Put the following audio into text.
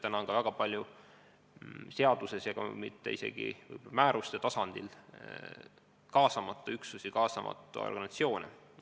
Täna on väga palju seaduste ja isegi määruste alusel kaasamata üksusi, kaasamata organisatsioone.